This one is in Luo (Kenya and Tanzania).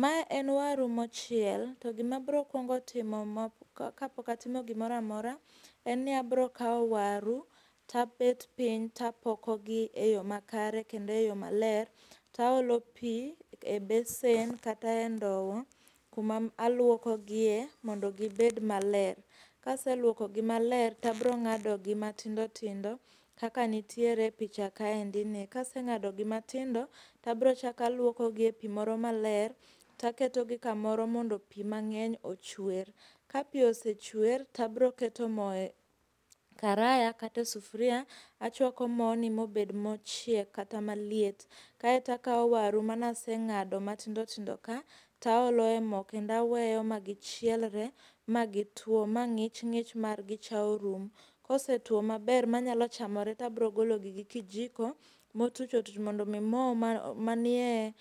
Ma en waru mochiel to gimabrokuongo timo kapoka timo gimoramora en ni abrokao waru tabet piny tapokogi e yoo makare kendo e yoo maler taolo pii e besen kata e ndowo kuma aluokogie mondo gibed maler. Kaseluokogi maler tabrong'adogi matindotindo kaka nitiere e picha kaendini. Kaseng'ado gi matindo tabrochako aluopko gi e pii moro maler taketogi kamoro mondo pii mang'eny ochuer. Ka pii osechuer tabroketo moo e karaya kata e sufria achwako mooni mobed mochiek kata maliet kae takao waru manaseng'ado matindotindo ka taolo e moo kendo aweyo ma gichielre magituo ma ng'ich ng'ich margi cha orumo. Kosetuo maber manyalo chamore tabrogologi gi kijiko motuch otuch mondomii moo manie